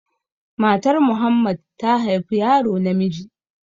Matar Muhammad ta haifi yaro namiji